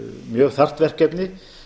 mjög þarft verkefni